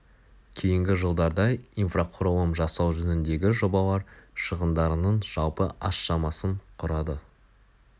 кейінгі жылдарда инфрақұрылым жасау жөніндегі жобалар шығындарының жалпы аз шамасын құрады